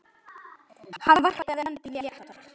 Hann varpaði öndinni léttar.